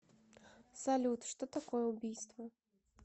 салют что такое убийство